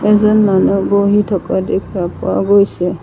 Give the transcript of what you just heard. এজন মানু্হ বহি থকা দেখা পোৱা গৈছে।